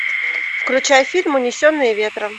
включай фильм унесенные ветром